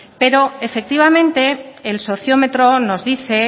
pero efectivamente el sociometro nos dice